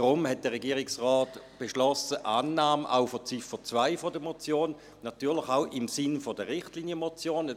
Darum hat der Regierungsrat auch zu Ziffer 2 der Motion Annahme beschlossen, natürlich auch im Sinne der Richtlinienmotion;